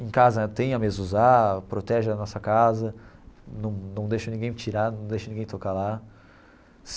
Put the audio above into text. Em casa eu tenho a mezuzá, protege a nossa casa, não não deixo ninguém tirar, não deixo ninguém tocar lá.